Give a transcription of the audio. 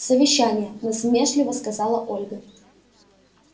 совещание насмешливо сказала ольга